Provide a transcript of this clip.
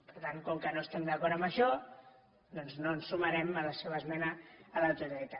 per tant com que no estem d’acord amb això doncs no ens sumarem a la seva esmena a la totalitat